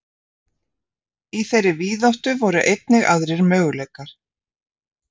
Í þeirri víðáttu voru einnig aðrir möguleikar.